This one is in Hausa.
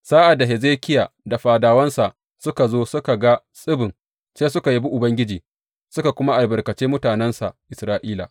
Sa’ad da Hezekiya da fadawansa suka zo suka ga tsibin, sai suka yabi Ubangiji, suka kuma albarkace mutanensa Isra’ila.